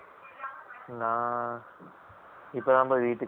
நான் இப்ப தான் பா வீட்டுக்கு வந்தேன்